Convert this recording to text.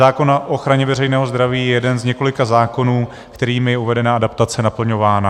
Zákon o ochraně veřejného zdraví je jeden z několika zákonů, kterými je uvedená adaptace naplňována.